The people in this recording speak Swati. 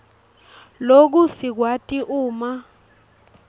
loku sikwati uma